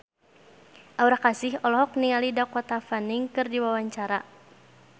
Aura Kasih olohok ningali Dakota Fanning keur diwawancara